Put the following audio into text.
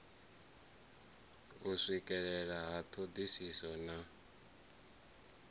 u swikelea ha thodisiso na